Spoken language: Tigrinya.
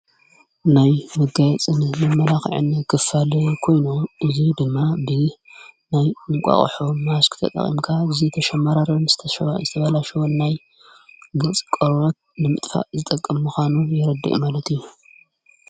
ናይ በጋየፅን ንመራኽዕኒ ክፋል ኮይኖ እዙይ ድማ ብህ ናይ እንቋቕሖ ማሽኪተ ጠቒምካ እጊዜ ተሸማራርም ዝተሰባ እዝትበላሽወን ናይ ገጽ ቀወት ንምጥፋእ ዝጠቀምምዃኑ የረድየ ማለት እዩ።